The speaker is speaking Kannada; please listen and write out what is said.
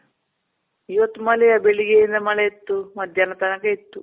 ಇವತ್ತು ಮಳೆ ಬೆಳಿಗ್ಗೆಯಿಂದ ಮಳೆ ಇತ್ತು. ಮಧ್ಯಾಹ್ನ ತನಕ ಇತ್ತು.